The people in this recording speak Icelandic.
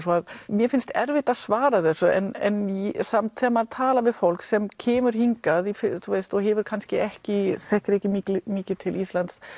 mér finnst erfitt að svara þessu en samt þegar maður talar við fólk sem kemur hingað og hefur kannski ekki þekkir ekki mikið til Íslands